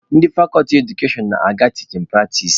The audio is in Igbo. Ndị fakọlti edukashọn na-aga tichin pratis.